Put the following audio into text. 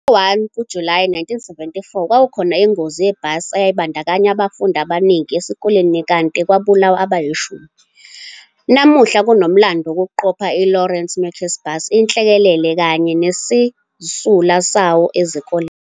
Ngo-1 kuJulayi 1974 kwakukhona ingozi yebhasi eyayibandakanya abafundi abaningi esikoleni kanti kwabulawa abayishumi. Namuhla kunomlando wokuqopha i-Lourenco Marques Bus inhlekelele kanye nezisulu zawo esikoleni.